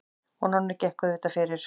Og Nonni gekk auðvitað fyrir.